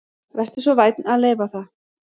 Vertu svo vænn að leyfa það